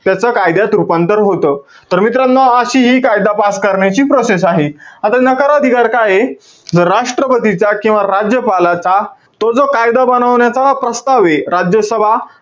त्याच कायद्यात रूपांतर होतं. तर मित्रांनो, अशी हि कायदा pass करण्याची process आहे. आता नकार अधिकार काये? जर राष्ट्रपतीचा किंवा राज्यपालाचा, तो जो कायदा बनवण्याचा प्रस्तावे, राज्यसभा,